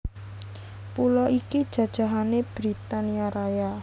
Pulo iki jajahané Britania Raya